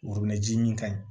ji min ka ɲi